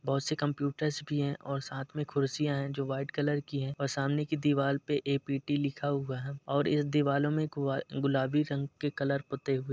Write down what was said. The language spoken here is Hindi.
बहुत से कंप्यूटरस भी हैं और साथ में खुर्सियाँ हैं जो वाइट कलर की हैं और सामने की दीवार पे ए.पी.टी. लिखा हुआ है और इस दिवलो में गुआ गुलाबी रंग के कलर पुते हुए --